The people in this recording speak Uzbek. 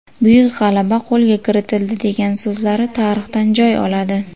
Buyuk g‘alaba qo‘lga kiritildi” degan so‘zlari tarixdan joy oladi.